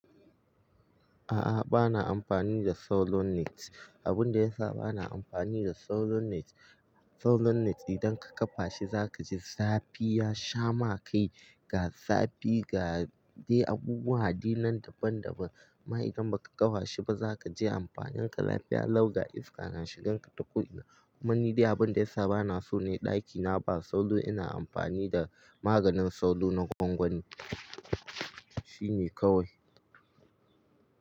A'a, ba na amfani da tsauro net. Abin da yasa ba na amfani da salonnet, salonnet idan ka ƙafa shi za ka ji zafi ya shama kai, ga zafi ga dai abubuwa addinan daban-daban. Amma idan ba ka ƙawashi ba za ka ji amfani ka lafiya law ga iska na shigan ka taku ina. Kuma ni dai abin da yasa ba na so ne ɗakina ba sauro ina amfani da maganin sauro na gwangwani. Shine kawai.